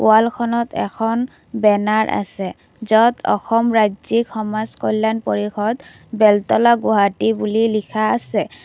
ৱালখনত এখন বেনাৰ আছে য'ত অসম ৰাজ্যিক সমাজ কল্যাণ পৰিষদ বেলতলা গুৱাহাটী বুলি লিখা আছে।